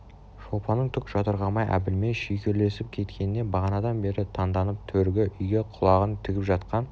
шолпанның түк жатырқамай әбілмен шүйіркелесіп кеткеніне бағанадан бері танданып төргі үйге құлағын тігіп жатқан